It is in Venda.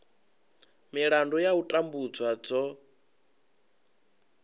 milandu ya u tambudzwa dzo